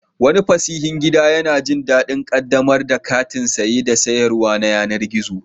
Wani fasihin gida yana jin daɗin ƙaddamar da kantin saye da sayarwa na yanar gizo.